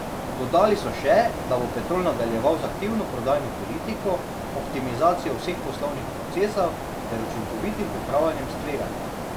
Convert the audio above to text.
Dodali so še, da bo Petrol nadaljeval z aktivno prodajno politiko, optimizacijo vseh poslovnih procesov ter učinkovitim upravljanjem s tveganji.